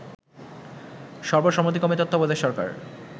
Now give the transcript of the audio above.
সর্বসম্মতিক্রেম তত্বাবধায়ক সরকার